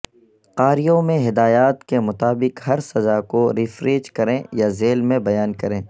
قاریوں میں ہدایات کے مطابق ہر سزا کو ریفریج کریں یا ذیل میں بیان کریں